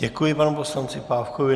Děkuji panu poslanci Pávkovi.